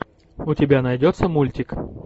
у тебя найдется мультик